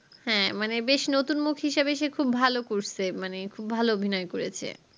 হ্যাঁ মানে বেশ নতুন movie র হিসাবে সে খুব ভালো করছে মানে খুব ভালো অভিনয় করেছে